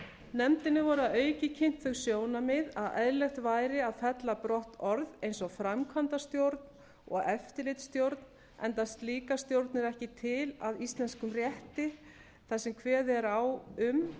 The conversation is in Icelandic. voru að auki kynnt þau sjónarmið að eðlilegt væri að fella brott orð eins og framkvæmdastjórn og eftirlitsstjórn enda slíkar stjórnir ekki til að íslenskum rétti þar sem kveðið er á um